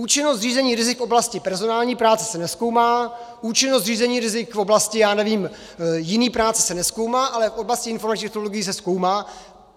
Účinnost řízení rizik v oblasti personální práce se nezkoumá, účinnost řízení rizik v oblasti, já nevím, jiné práce se nezkoumá, ale v oblasti informačních technologií se zkoumá.